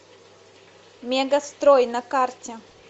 мегастрой на карте